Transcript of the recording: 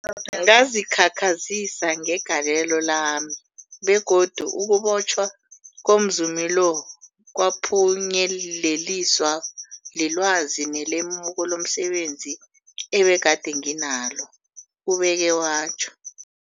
Ngazikhakhazisa ngegalelo lami, begodu ukubotjhwa komzumi lo kwaphunyeleliswa lilwazi nelemuko lomse benzi ebegade nginalo, ubeke watjho.